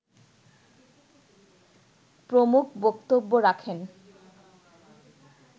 প্রমুখ বক্তব্য রাখেন